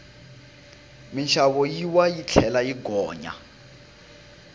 minxavo yi wa yi tlhela yi gonya